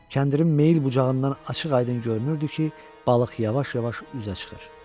Kəndirin meyil bucağından açıq-aydın görünürdü ki, balıq yavaş-yavaş üzə çıxır.